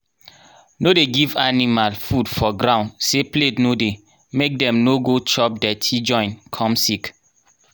no dey give animal food for ground say plate no dey make dem no go chop dirty join come sick